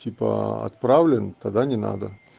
типа отправлен тогда не надо